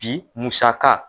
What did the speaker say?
Bi musaka.